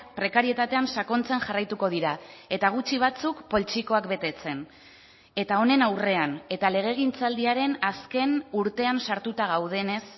prekarietatean sakontzen jarraituko dira eta gutxi batzuk poltsikoak betetzen eta honen aurrean eta legegintzaldiaren azken urtean sartuta gaudenez